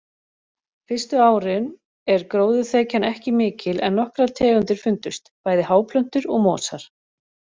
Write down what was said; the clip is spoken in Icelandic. Fyrstu árin er gróðurþekjan ekki mikil en nokkrar tegundir fundust, bæði háplöntur og mosar.